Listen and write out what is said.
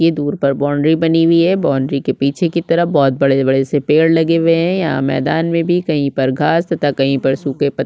ये दूर पर बाउंड्री बनी हुई हैं बाउंड्री के पीछे की तरफ बहुत बड़े - बड़े से पेड़ लगे हुए हैं यहाँ मैदान मे भी कहीं पर घास तथा कहीं पर सूखे पत्ते --